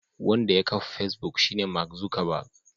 Wanda ya kafa Facebook shine Mark Zuckerberg.